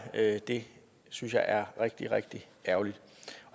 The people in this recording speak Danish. det synes jeg er rigtig rigtig ærgerligt